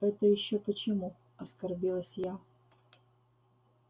это ещё почему оскорбилась я